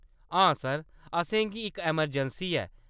हां सर, असेंगी इक अमरजैंसी ऐ।